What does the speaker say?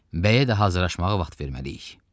Bəyə də hazırlaşmağa vaxt verməliyik.